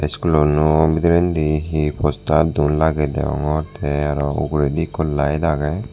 iskulano bidinredi he postar duon lagey degongor te aro uguredi ekko layet agey.